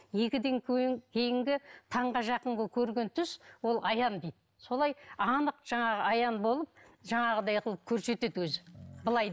екіден кейінгі таңға жақынғы көрген түс ол аян дейді солай анық жаңағы аян болып жаңағыдай қылып көрсетеді өзі былай